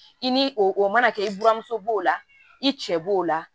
I ni o mana kɛ i buramuso b'o la i cɛ b'o la